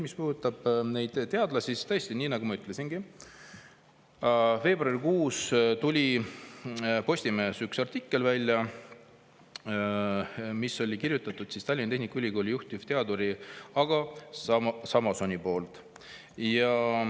Mis puudutab neid teadlasi, siis tõesti, nii nagu ma ütlesingi, veebruarikuus ilmus Postimehes üks artikkel, mille oli kirjutanud Tallinna Tehnikaülikooli juhtivteadur Ago Samoson.